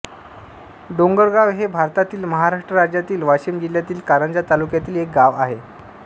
डोंगरगाव हे भारतातील महाराष्ट्र राज्यातील वाशिम जिल्ह्यातील कारंजा तालुक्यातील एक गाव आहे